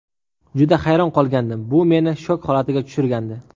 Juda hayron qolgandim, bu meni shok holatiga tushirgandi.